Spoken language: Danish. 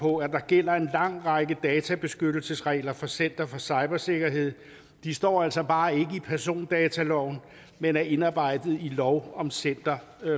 på at der gælder en lang række databeskyttelsesregler for center for cybersikkerhed de står altså bare ikke i persondataloven men er indarbejdet i lov om center